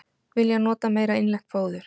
Vilja nota meira innlent fóður